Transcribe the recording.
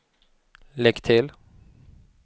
lägg till